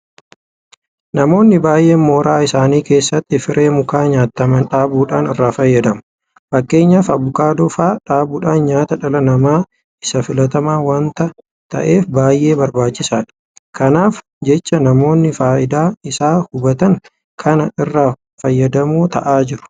Namoonni baay'een mooraa isaanii keessatti firee mukaa nyaataman dhaabuudhaan irraa fayyadamu. Fakkeenyaaf Abukaadoo fa'aa dhaabuun nyaata dhala namaa isa filatamaa waanta ta'eef baay'ee barbaachisaadha. Kanaaf jecha namoonni faayidaa isaa hubatan kana irraa fayyadamoo ta'aa jiru.